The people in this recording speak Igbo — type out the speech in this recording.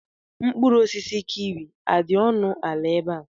Mkpụrụ osisi kiwi adị ọnụ ala ebe a?